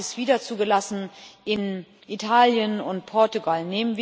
Gerade haben Sie es wieder zugelassen in Italien und Portugal.